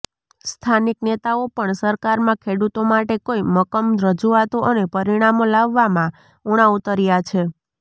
સ્થાનિક નેતાઓ પણ સરકારમાં ખેડૂતો માટે કોઈ મક્કમ રજૂઆતો અને પરિણામો લાવવામાં ઉણા ઉતર્યા છે